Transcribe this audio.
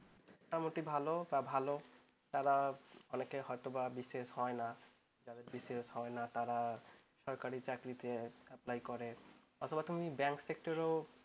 মোটামুটি ভালও বা ভাল অনেকের হয়তো বা BCS হয় না BCS হয় না তারা সরকারি চাকরিতে apply করে। অথবা তুমি bank sector -এও